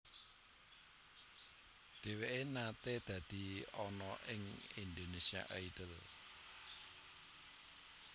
Dheweke nate dadi ana ing Indonesia Idol